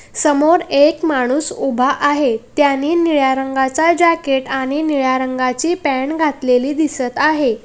समोर एक माणूस उभा आहे त्यानी निळ्या रंगाचा जॅकेट आणि निळ्या रंगाची पॅन्ट घातलेली दिसत आहे.